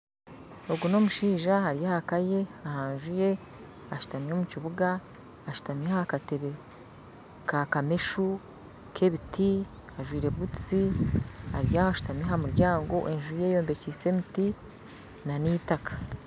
Ogu n'omushaija ari ah'aka ye aha nju ye ashuutami omu kibuga ashuutami aha kateebe ka kameshu k'ebiti ajwire butuusi ari aho ashutamire aha muryango enju ye eyombekyise emiti na n'itaaka